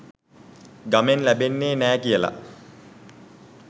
ගමෙන් ලැබෙන්නේ නෑ කියලා.